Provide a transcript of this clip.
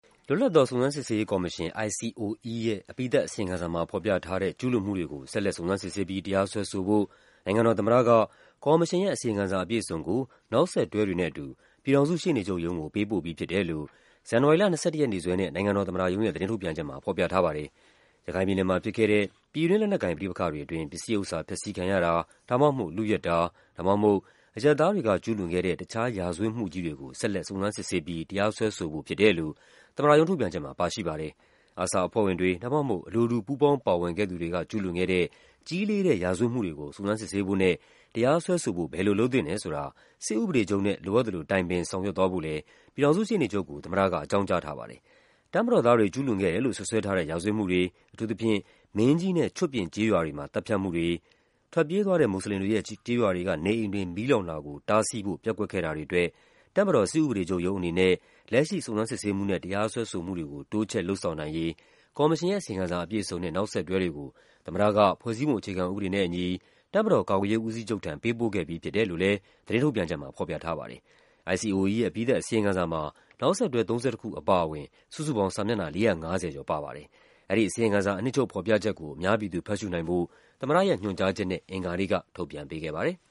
လွတ်လပ်သော စုံစမ်းစစ်ဆေးရေးကော်မရှင် (ICOE) ရဲ့ အပြီးသတ်အစီရင်ခံစာမှာ ဖော်ပြထားတဲ့ ကျူးလွန်မှုတွေကို ဆက်လက် စုံစမ်းစစ်ဆေးပြီး တရားစွဲဆိုဖို့ နိုင်ငံတော်သမ္မတက ကော်မရှင်ရဲ့ အစီရင်ခံစာအပြည့်အစုံကို နောက်ဆက်တွဲတွေနဲ့အတူ ပြည်ထောင်စုရှေ့နေချုပ်ရုံးကို ပေးပို့ပြီးဖြစ်တယ်လို့ ဇန်နဝါရီလ ၂၁ ရက်နေ့စွဲနဲ့ နိုင်ငံတော်သမ္မတရုံးရဲ့ သတင်းထုတ်ပြန်ချက်မှာ ဖော်ပြထားပါတယ်။ ရခိုင်ပြည်နယ်မှာဖြစ်ခဲ့တဲ့ ပြည်တွင်းလက်နက်ကိုင် ပဋိပက္ခတွေအတွင်း ပစ္စည်းဥစ္စာဖျက်ဆီးခံရတာ ဒါမှမဟုတ် လုယက်တာ ဒါမှ မဟုတ် အရပ်သားတွေက ကျူးလွန်ခဲ့တဲ့ တခြားရာဇဝတ်မှုကြီးတွေကို ဆက်လက် စုံစမ်းစစ်ဆေးပြီး တရားစွဲဆိုဖို့ဖြစ်တယ်လို့ သမ္မတရုံးထုတ်ပြန်ချက်မှာ ပါရှိပါတယ်။ ARSA အဖွဲ့ဝင်တွေ ဒါမှမဟုတ် အလိုတူ ပူးပေါင်းပါဝင်ခဲ့သူတွေက ကျူးလွန်ခဲ့တဲ့ ကြီးလေးတဲ့ ရာဇဝတ်မှုတွေကို စုံစမ်းစစ်ဆေးဖို့နဲ့ တရားစွဲဆိုဖို့ ဘယ်လိုလုပ်သင့်တယ်ဆိုတာ စစ်ဥပဒေချုပ်နဲ့ လိုအပ်သလို တိုင်ပင်ဆောင်ရွက်သွားဖို့လည်း ပြည်ထောင်စုရှေ့နေ ချုပ်ကို သမ္မတက အကြောင်းကြားထားပါတယ်။ တပ်မတော်သားတွေ ကျူးလွန်ခဲ့တယ်လို့ စွပ်စွဲထားတဲ့ ရာဇဝတ်မှုတွေ၊ အထူးသဖြင့် မင်းကြီးနဲ့ ချွတ်ပြင်ကျေးရွာတွေမှာ သတ်ဖြတ်မှုတွေ၊ ထွက်ပြေးသွားတဲ့ မွတ်ဆလင်တွေရဲ့ ကျေးရွာတွေကနေအိမ်တွေ မီးလောင်တာကို တားဆီးဖို့ ပျက်ကွက်ခဲ့တာ တွေအတွက် တပ်မတော် စစ်ဥပဒေချုပ်ရုံးအနေနဲ့ လက်ရှိ စုံစမ်းစစ်ဆေးမှုနဲ့ တရားစွဲဆိုမှုတွေကို တိုးချဲ့လုပ်ဆောင်နိုင်ရေး ကော်မရှင်ရဲ့ အစီရင်ခံစာအပြည့်အစုံနဲ့ နောက်ဆက်တွဲတွေကို သမ္မတက ဖွဲ့စည်းပုံအခြေခံ ဥပဒေနဲ့အညီ တပ်မတော် ကာကွယ်ရေးဦးစီးချုပ်ထံ ပေးပို့ခဲ့ပြီးဖြစ်တယ်လို့လည်း သတင်းထုတ်ပြန်ချက် မှာ ဖော်ပြထားပါတယ်။ ICOE ရဲ့ အပြီးသတ် အစီရင်ခံစာမှာ နောက်ဆက်တွဲ ၃၁ ခုအပါအဝင် စုစုပေါင်း စာမျက်နှာ ၄၅၀ ကျော် ပါပါတယ်။ အဲဒီအစီရင် ခံစာ အနှစ်ချုပ်ဖော်ပြချက်ကို အများပြည်သူဖတ်ရှုနိုင်ဖို့ သမ္မတရဲ့ ညွှန်ကြားချက်နဲ့ အင်္ဂါနေ့က ထုတ်ပြန်ပေးခဲ့ပါတယ်